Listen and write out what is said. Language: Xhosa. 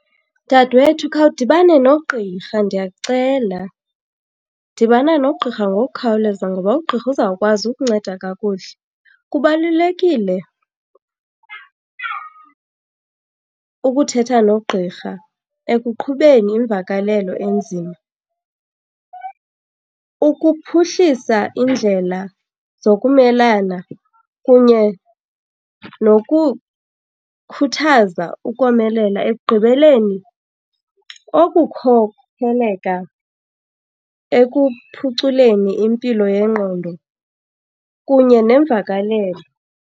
Dade wethu, khawudibane nogqirha ndiyakucela. Dibana nogqirha ngokukhawuleza ngoba ugqirha uzawukwazi ukunceda kakuhle. Kubalulekile ukuthetha nogqirha ekuqhubeni imvakalelo enzima, ukuphuhlisa iindlela zokumelana kunye nokukhuthaza ukomelela. Ekugqibeleni, okukhokheleka ekuphuculeni impilo yengqondo kunye nemvakalelo.